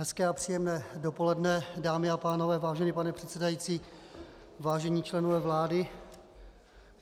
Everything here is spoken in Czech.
Hezké a příjemné dopoledne, dámy a pánové, vážený pane předsedající, vážení členové vlády.